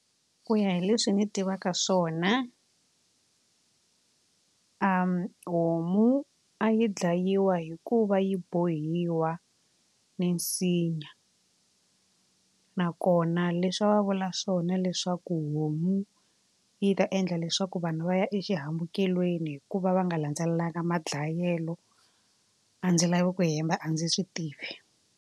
Ku ya hi leswi ni tivaka swona homu yi dlayiwa hikuva yi bohiwa minsinya nakona leswi va vula swona leswaku homu yi ta endla leswaku vanhu va ya exihambukelweni hikuva va nga landzelelanga madlayelo a ndzi lavi ku hemba a ndzi swi tivi.